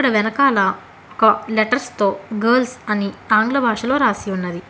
వెనకాల ఒక లెటర్స్ తో గర్ల్స్ అని ఆంగ్ల భాషలో రాసి ఉన్నది.